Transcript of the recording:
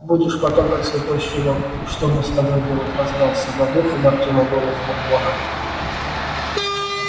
будешь потом как слепой щенок и что мне с тобой делать раздался над ухом артёма голос бурбона